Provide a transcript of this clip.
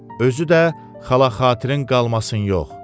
Özü də xala-xatirinn qalmasın yox.